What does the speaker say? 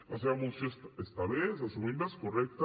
la seva moció està bé és assumible és correcta